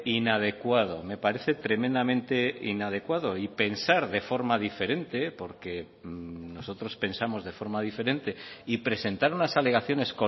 inadecuado me parece tremendamente inadecuado y pensar de forma diferente porque nosotros pensamos de forma diferente y presentar unas alegaciones